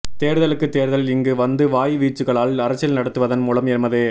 தேர்தலுக்குத் தேர்தல் இங்கு வந்து வாய் வீச்சுக்களால் அரசியல் நடத்துவதன் மூலம் எமது